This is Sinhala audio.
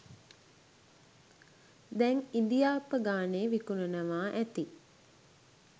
දැං ඉදි ආප්පගානේ විකුණනවා ඇති